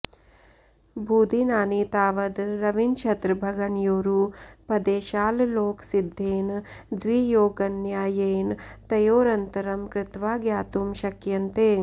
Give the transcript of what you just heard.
भूदिनानि तावद् रविनक्षत्रभगणयोरुपदेशाल्लोकसिद्धेन द्वियोगन्यायेन तयोरन्तरं कृत्वा ज्ञातुं शक्यन्ते